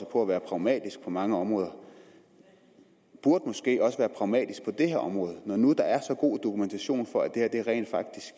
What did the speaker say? på at være pragmatiske på mange områder burde måske også være pragmatiske på det her område når nu der er så god dokumentation for at det her rent